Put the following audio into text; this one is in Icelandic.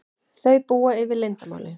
Þau búa yfir leyndarmáli.